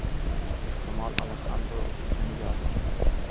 Ehtimol, Alexandro Zunigadir?